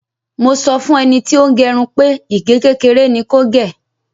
Mo sọ fún ẹni tí ó ń gẹrun pé ìgé kékeré ni kò gè.